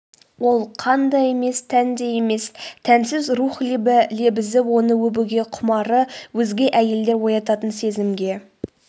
ол қан да емес тән де емес тәнсіз рух лебі лебізі оны өбуге құмары өзге әйелдер оятатын сезімге